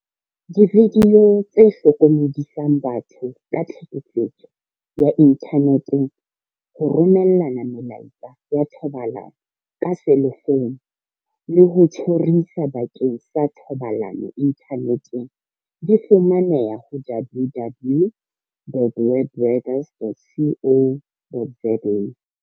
Dividio tse hlokomedisang batho ka tlhekefetso ya inthane teng, ho romellana melaetsa ya thobalano ka selefouno le ho tjhorisa bakeng sa thobalano inthaneteng, di fumaneha ho www dot webrangers dot co dot za.